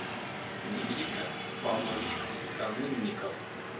никита павлович канунников